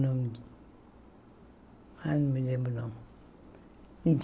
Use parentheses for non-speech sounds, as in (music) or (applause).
(unintelligible) Ai não me lembro o nome.